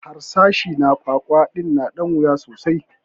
Harsashi na kwakwa din na da wuya sosai